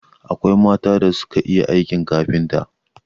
Akwai mata da suka iya aikin kafinta